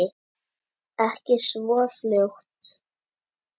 Ekki svo fljótt.